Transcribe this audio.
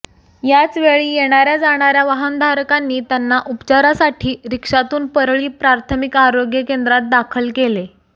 याच वेळी येणार्या जाणार्या वाहनधारकांनी त्यांना उपचारासाठी रिक्षातून परळी प्राथमिक आरोग्य केंद्रात दाखल केले